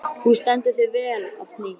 Þú stendur þig vel, Ásný!